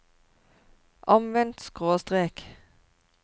omvendt skråstrek